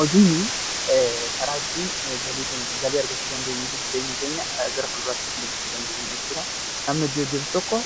Hojiin karaa ittiin galii argachuu dandeenyu fi jireenya keenya gara fuulduraatti adeemsisuu dandeenyudha jechuu dha. Namni hojii hojjetu tokko